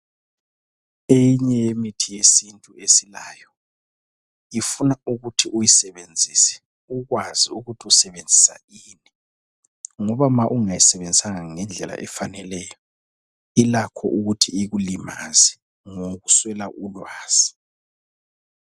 Eyinye yemithi yesintu esilayo ,ifuna ukuthi uyisebenzise ukwazi ukuthi usebenzisa ini. Ngoba ma ungayisebenzisanga ngendlela efaneleyo ilakho ukuthi ikulimaze ngokuswela ulwazi .